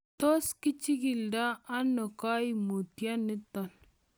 Tos kichikildo ono koimutioniton?